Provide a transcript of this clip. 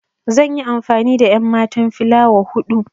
Zan yi amfani da enmatan filawa hudu.